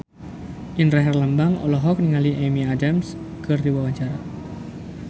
Indra Herlambang olohok ningali Amy Adams keur diwawancara